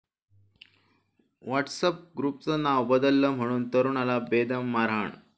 WhatsApp ग्रुपचं नावं बदललं म्हणून तरुणाला बेदम मारहाण